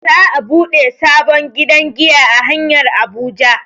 Za'a buɗe sabon gidan giya a hanyar Abuja.